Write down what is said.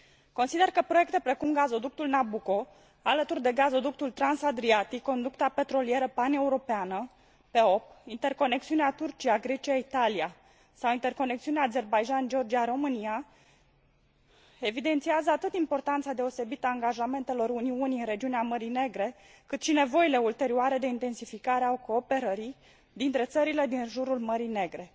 Consider că proiecte precum gazoductul Nabucco, alături de gazoductul Transadriatic, conducta petrolieră paneuropeană PEOP, interconexiunea Turcia Grecia Italia sau interconexiunea Azerbaidjan Georgia România evidențiază atât importanța deosebită a angajamentelor Uniunii în regiunea Mării Negre, cât și nevoile ulterioare de intensificare a cooperării dintre țările din jurul Mării Negre.